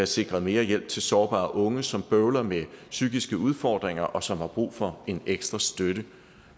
sikret mere hjælp til sårbare unge som bøvler med psykiske udfordringer og som har brug for en ekstra støtte